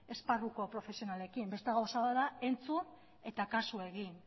esparruko profesionalekin beste gauza bat da entzun eta kasu egin